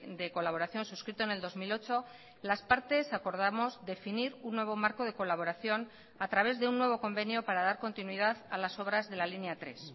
de colaboración suscrito en el dos mil ocho las partes acordamos definir un nuevo marco de colaboración a través de un nuevo convenio para dar continuidad a las obras de la línea tres